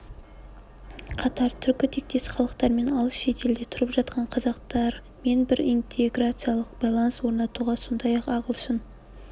қатар түркі тектес халықтармен алыс шетелде тұрып жатқан қазақтармен бір интеграциялық байланыс орнатуға сондай-ақ ағылшын